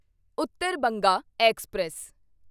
Uttar Banga express